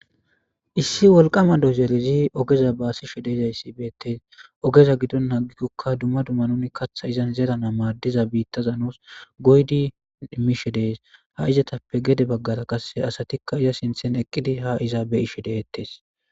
Issi woliqama dodorezi ogeza basishe deizayisi beteesi ogeza gidon namu kathi zeranawu madiza goyishe mishes desi izetaple gede bagara asatikka iza sinthera eqidi ha iza betishe deteesi